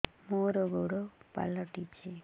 ମୋର ଗୋଡ଼ ପାଲଟିଛି